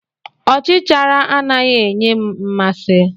Ọchichara anaghị enye m mmasị.